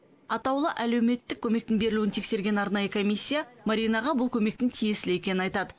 атаулы әлеуметтік көмектің берілуін тексерген арнайы комиссия маринаға бұл көмектің тиесілі екенін айтады